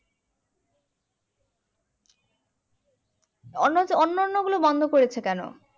অন্য যে অন্ন্য়ন গুলা বন্ধ করেছে কেন